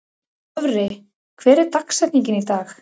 Dofri, hver er dagsetningin í dag?